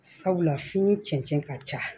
Sabula fini cɛncɛn ka ca